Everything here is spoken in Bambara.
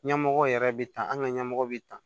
Ɲɛmɔgɔ yɛrɛ bɛ tan an ka ɲɛmɔgɔ be tan